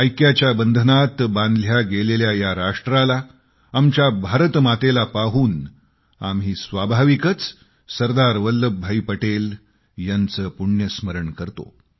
ऐक्याच्या बंधनात बांधल्या गेलेल्या या राष्ट्राला आमच्या भारतमातेला पाहून आम्ही स्वाभाविकच सरदार वल्लभभाई पटेल यांचे पुण्यस्मरण करतो